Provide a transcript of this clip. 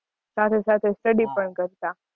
સાથે સાથે study પણ કરતાં.